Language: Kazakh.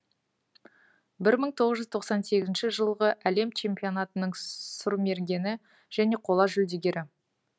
бір мың тоғыз жүз тоқсан сегізінші жылғы әлем чемпионатының сұрмергені және қола жүлдегері